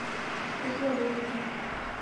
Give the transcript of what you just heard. кисловодску